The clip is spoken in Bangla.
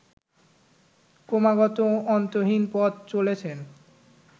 ক্রমাগত অন্তহীন পথে চলেছেন